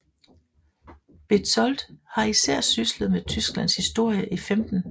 Bezold har især syslet med Tysklands historie i 15